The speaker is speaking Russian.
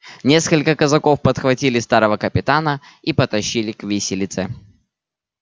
несколько казаков подхватили старого капитана и потащили к виселице